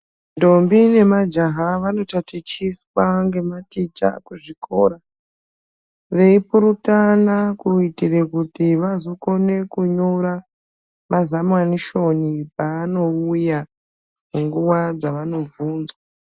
Ntombi nemajaha vanotatichiswa ngematicha kuzvikora, veipurutana kuitire kuti vazokone kunyora mazamanishoni paanouya munguwa dzava nobvunzwa.